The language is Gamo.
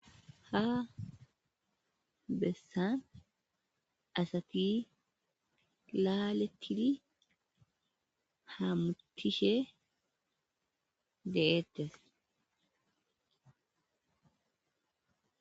Ha besan asat laaletid hamutishe de'etes.